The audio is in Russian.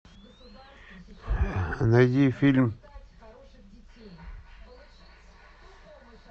найди фильм